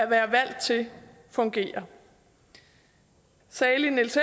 være valgt til fungerer salig niels